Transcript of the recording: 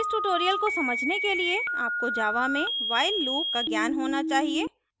इस tutorial को समझने के लिए आपको java में while loop का ज्ञान होना चाहिए